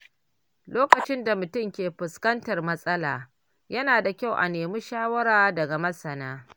Lokacin da mutum ke fuskantar matsala, yana da kyau a nemi shawara daga masana.